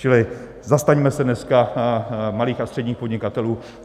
Čili zastaňme se dneska malých a středních podnikatelů.